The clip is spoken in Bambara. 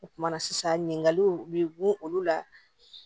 O kumana sisan ɲininkaliw bɛ gun olu la